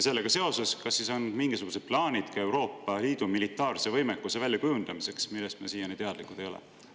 Sellega seoses küsin, kas siis on mingisugused plaanid ka Euroopa Liidu militaarse võimekuse väljakujundamiseks, millest me siiani teadlikud ei ole olnud.